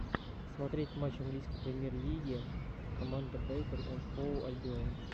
смотреть матч английской премьер лиге команда брайтон энд хоув альбион